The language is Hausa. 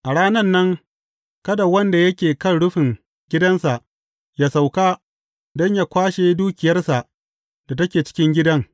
A ranan nan, kada wanda yake kan rufin gidansa ya sauka don yă kwashe dukiyarsa da take cikin gidan.